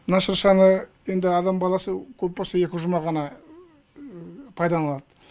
мына шыршаны енді адам баласы көп болса екі жұма ғана пайдаланады